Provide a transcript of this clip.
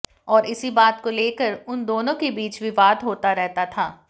और इसी बात को लेकर उन दोनों के बीच विवाद होता रहता था